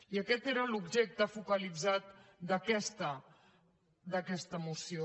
i aquest era l’objecte focalitzat d’aquesta moció